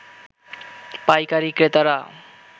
পাইকারী ক্রেতারা